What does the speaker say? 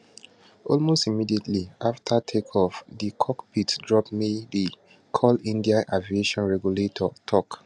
almost immediately afta takeoff di cockpit drop mayday call india aviation regulator tok